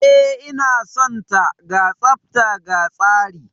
E, ina son ta. Ga tsafta ga tsari